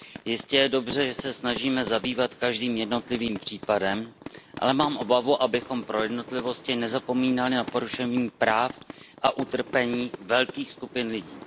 Jistě je dobře, že se snažíme zabývat každým jednotlivým případem, ale mám obavu, abychom pro jednotlivosti nezapomínali na porušení práv a utrpení velkých skupin lidí.